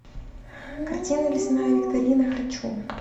картина лесная викторина хочу